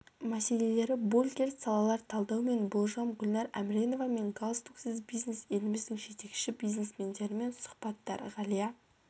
мәселелері больгерт салалар талдау мен болжам гүлнар әмреновамен галстуксіз бизнес еліміздің жетекші бизнесмендерімен сұхбаттар ғалия